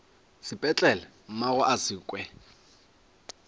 sepetlele mmagwe a se kwe